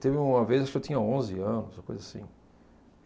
Teve uma vez, acho que eu tinha onze anos, uma coisa assim.